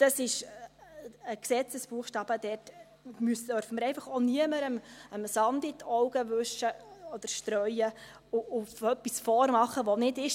Das ist ein Gesetzesbuchstabe, und dort dürfen wir niemandem Sand in die Augen streuen und ihm etwas vormachen, das nicht ist.